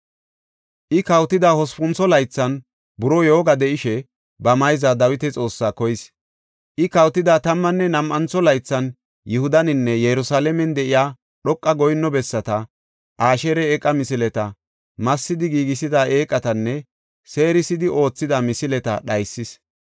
I kawotida hospuntho laythan buroo yooga de7ishe ba mayza Dawita Xoossaa koyis. I kawotida tammanne nam7antho laythan Yihudaninne Yerusalaamen de7iya dhoqa goyinno bessata, Asheera eeqa misileta, massidi giigisida eeqatanne seerisidi oothida misileta dhaysis.